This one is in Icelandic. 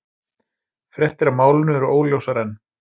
Fréttir af málinu eru óljósar enn